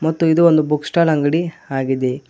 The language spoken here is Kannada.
ಮತ್ತು ಇದು ಒಂದು ಬುಕ್ ಸ್ಟಾಲ್ ಅಂಗಡಿ ಆಗಿದೆ.